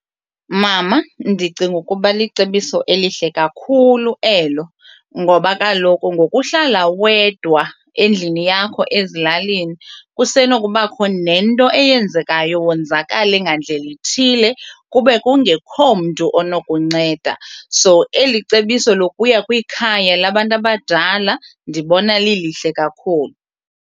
Mama, ndicinga ukuba licebiso elihle kakhulu elo ngoba kaloku ngokuhlala wedwa endlini yakho ezilalini kusenokubakho nento eyenzekayo wonzakale ngandlela ithile kube kungekho mntu onokunceda. So eli cebiso lokuya kwikhaya labantu abadala ndibona lilihle kakhulu.